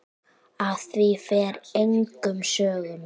Af því fer engum sögum.